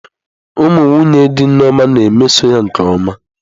Ụmụ nwunye dị Nneoma na-emeso ya nke ọma.